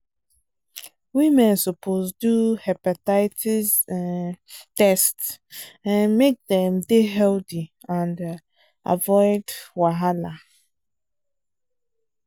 women suppose do hepatitis um test um make dem dey healthy and um avoid wahala.